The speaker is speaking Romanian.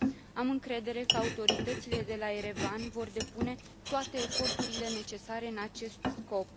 Am încredere că autoritățile de la Erevan vor depune toate eforturile necesare în acest scop.